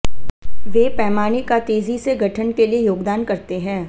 वे पैमाने का तेजी से गठन के लिए योगदान करते हैं